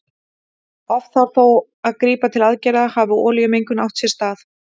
Oft þarf þó að grípa til aðgerða hafi olíumengun átt sér stað.